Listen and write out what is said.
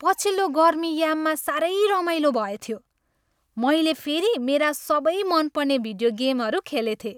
पछिल्लो गर्मी याममा साह्रै रमाइलो भएथ्यो। मैले फेरि मेरा सबै मनपर्ने भिडियो गेमहरू खेलेथेँ।